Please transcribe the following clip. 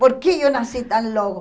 Por que eu nasci tão logo?